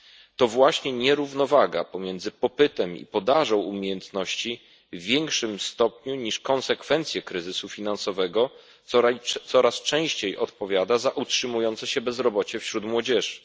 To właśnie nierównowaga między popytem i podażą umiejętności w większym stopniu niż konsekwencje kryzysu finansowego coraz częściej odpowiada za utrzymujące się bezrobocie wśród młodzieży.